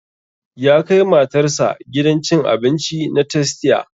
Ya kai matar sa gidan cin abinci na tastia